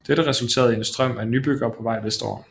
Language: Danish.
Dette resulterede i en strøm af nybyggere på vej vestover